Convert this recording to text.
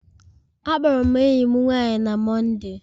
Akpọrọ m enyi m nwanyị na Mọnde